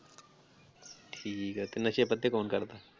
ਠੀਕ ਆ ਤੇ ਨਸ਼ੇ ਪੱਤੇ ਕੌਣ ਕਰਦਾ?